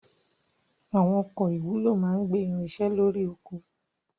Àwọn ọkọ̀ ìwúlò máa ń gbé irinṣẹ́ lórí oko.